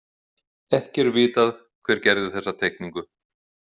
Ekki er vitað hver gerði þessa teikningu.